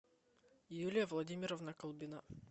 юлия владимировна колбина